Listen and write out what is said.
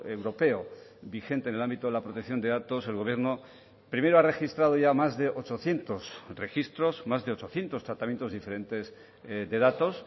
europeo vigente en el ámbito de la protección de datos el gobierno primero a registrado ya más de ochocientos registros más de ochocientos tratamientos diferentes de datos